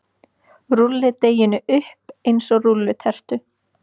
Rúllið deiginu upp eins og rúllutertu.